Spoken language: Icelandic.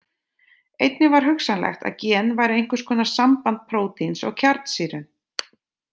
Einnig var hugsanlegt að gen væru einhvers konar samband prótíns og kjarnsýru.